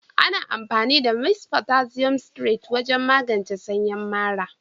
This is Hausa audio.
Ana amfani da "mist potassium citrate" wajen magance sanyin mara.